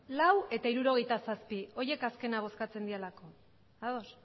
lau eta hirurogeita zazpi horiek azkenak bozkatzen direlako ados